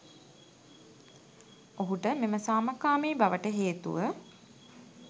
ඔහුට මෙම සාමකාමී බවට හේතුව